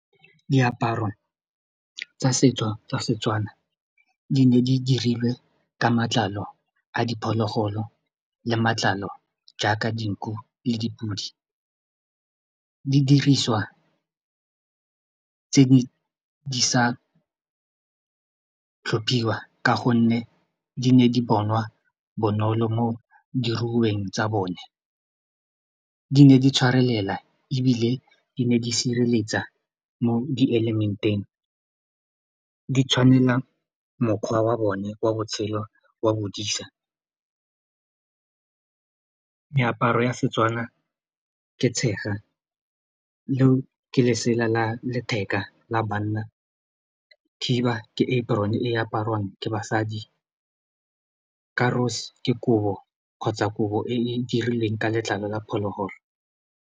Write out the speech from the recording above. Diaparo tsa setso tsa seTswana di ne di dirilwe ka matlalo a diphologolo le matlalo jaaka dinku le dipudi di diriswa tse di sa tlhophiwa ka gonne di ne di bonwa bonolo mo diruiweng tsa bone di ne di tshwarelela ebile di ne di sireletsa mo dielemeteng di tshwanela mokgwa wa bone wa botshelo wa bodisa meaparo ya seTswana ke tshega leo ke le lesela la letheka la banna khiba ke apron-e aparwang ke basadi karose ke kobo kgotsa kobo e e dirilweng ka letlalo la phologolo.